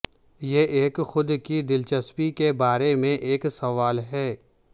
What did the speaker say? یہ ایک خود کی دلچسپی کے بارے میں ایک سوال ہے